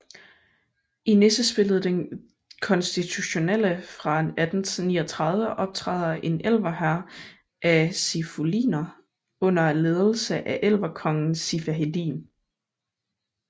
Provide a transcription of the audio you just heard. I nissespillet Den Constitutionelle fra 1839 optræder en elverhær af sifuliner under ledelse af elverkongen Sifaheddin